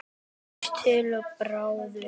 Ís til Arabíu?